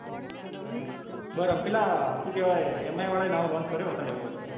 બરાબર પેલા શું કેવાય mi વાળા એ નવો કર્યો છે તારે લેવો હોય તો.